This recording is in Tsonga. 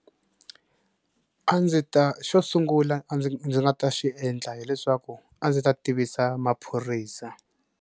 A ndzi ta xo sungula a ndzi ndzi nga ta xi endla hileswaku a ndzi ta tivisa maphorisa.